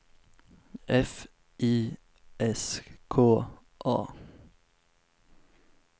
F I S K A